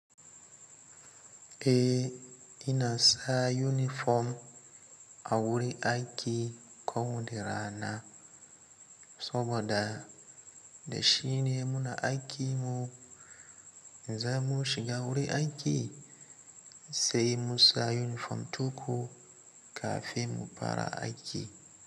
Eh, ina sa unifom a wurin aiki ko mu da rana saboda da shi ne muna aikin mu. In za mu shiga wurin aiki sai mu sa unifom tukun kafin mu fara aiki.